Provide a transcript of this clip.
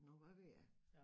Nåh hvad ved jeg